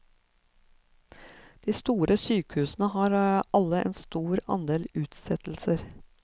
De store sykehusene har alle en stor andel utsettelser.